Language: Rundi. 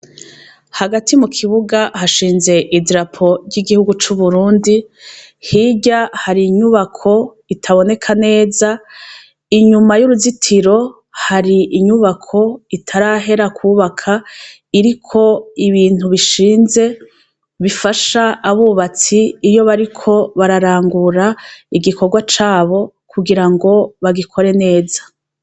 Hagati mu kibuga hashinze idirapo ry'igihugu c'uburundi hirya hari inyubako itaboneka neza inyuma y'uruzitiro hari inyubako itarahera kubaka iriko ibintu bishinze bifasha abubatsi iryo bariko bararangura igikorwa cabo kugira ngo bagikore neza.